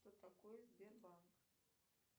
что такое сбербанк